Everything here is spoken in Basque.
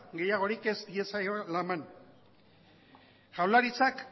gehiagorik ez diezaiola eman jaurlaritzak